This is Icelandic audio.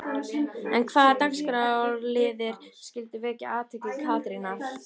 En hvaða dagskrárliðir skyldu vekja athygli Katrínar?